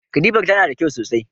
Katifar tana da kyau sosai.